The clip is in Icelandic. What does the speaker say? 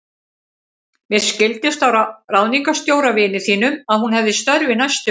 Mér skildist á ráðningarstjóra, vini þínum, að hún hefji störf í næstu viku.